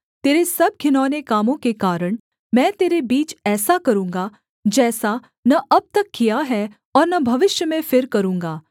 तेरे सब घिनौने कामों के कारण मैं तेरे बीच ऐसा करूँगा जैसा न अब तक किया है और न भविष्य में फिर करूँगा